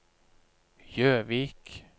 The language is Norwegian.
Gjøvik